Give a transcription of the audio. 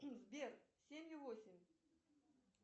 сбер семь ю восемь